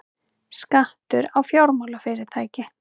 Skattur á fjármálafyrirtæki